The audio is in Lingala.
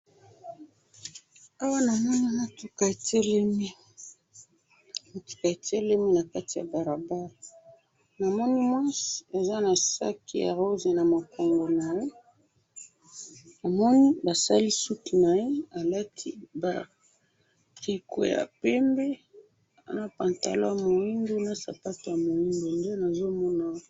Awa namoni mutuka etelemi, mutuka etelemi na kati ya balabala, namoni mwasi aza na sac ya rose na mokongo naye, namoni basali suki naye alati ba tricot ya pembe, na pantalon ya moindo na sapato ya miondo, nde nazo mona awa